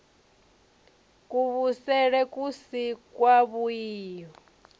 kuvhusele ku si kwavhui u